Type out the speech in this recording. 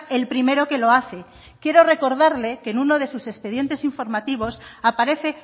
el primero que lo hace quiero recordarle que en uno de sus expedientes informativos aparece